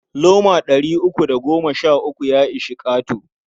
Loma ɗari uku da goma sha uku ya ishi ƙato.